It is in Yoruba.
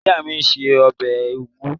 Ìyá mi se ọbẹ̀ úgú